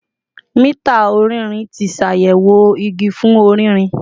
Mita ọrinrin ti ṣayẹwo igi fun ọririn